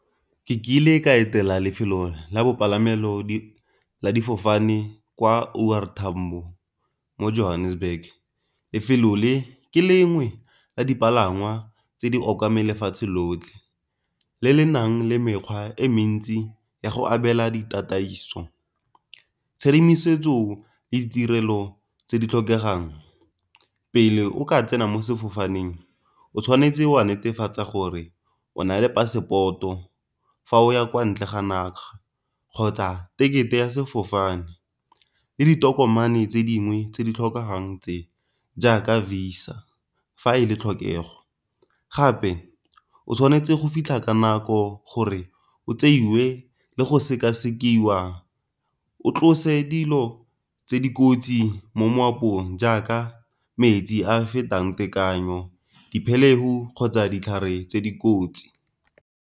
Ke kile ka etela lefelo la bopalamelo la difofane kwa O R Tambo mo Johannesburg. Lefelo le ke lengwe la dipalangwa tse di okameng lefatshe lotlhe, le le nang le mekgwa e mentsi ya go abela ditataiso. Tshedimosetso le ditirelo tse di tlhokegang pele o ka tsena mo sefofaneng o tshwanetse wa netefatsa gore o na le passport-o fa o ya kwa ntle ga naga, kgotsa tekete ya sefofane, le ditokomane tse dingwe tse di tlhokagang tse jaaka Visa ga e le tlhokego. Gape o tshwanetse go fitlha ka nako gore o tseiwe le go sekasekiwa, o tlose dilo tse dikotsi mo jaaka metsi a a fetang tekanyo dipheleu kgotsa ditlhare tse dikotsi